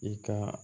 I ka